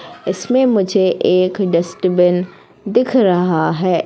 इसमें मुझे एक डस्टबिन दिख रहा है।